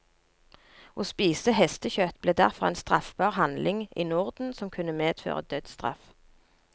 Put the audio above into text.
Å spise hestekjøtt ble derfor en straffbar handling i norden som kunne medføre dødsstraff.